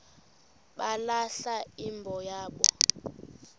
balahla imbo yabo